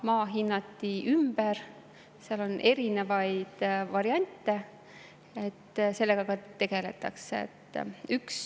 Maa hinnati ümber, seal on erinevaid variante, sellega ka tegeletakse.